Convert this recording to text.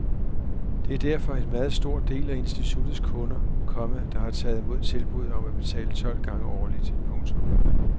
Det er derfor en meget stor del af instituttets kunder, komma der har taget mod tilbuddet om at betale tolv gange årligt. punktum